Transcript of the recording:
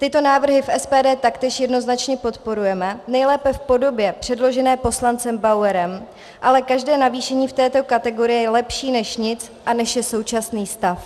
Tyto návrhy v SPD taktéž jednoznačně podporujeme, nejlépe v podobě předložené poslancem Bauerem, ale každé navýšení v této kategorii je lepší než nic a než je současný stav.